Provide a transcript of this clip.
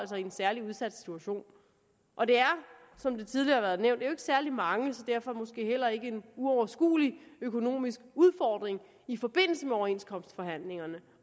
i en særlig udsat situation og det er som det tidligere har været nævnt jo ikke særlig mange så derfor måske heller ikke en uoverskuelig økonomisk udfordring i forbindelse med overenskomstforhandlingerne